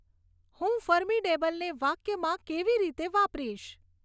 હું ફર્મીડેબલને વાક્યમાં કેવી રીતે વાપરીશ